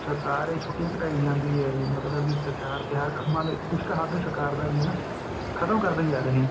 ਸਰਕਾਰ ਇਹ ਛੁੱਟੀਆ ਘਟਾਈ ਜਾਂਦੀ ਹੈ ਮਤਲਬ ਤਿਉਹਾਰ ਕੰਮਾਂ ਲਈ ਕੁੱਝ ਹੱਥ ਸਰਕਾਰ ਦਾ ਵੀ ਹੈ ਹਨਾ ਖ਼ਤਮ ਕਰਦੇ ਜਾ ਰਹੇ ਹੈ